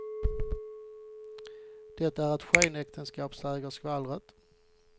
Det är ett skenäktenskap, säger skvallret.